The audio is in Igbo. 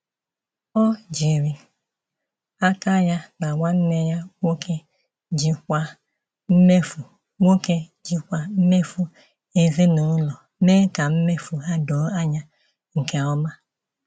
Ọ jiri aka ya na nwanne ya nwoke jikwaa mmefu nwoke jikwaa mmefu ezinụlọ, mee ka mmefu ha doo anya nke ọma.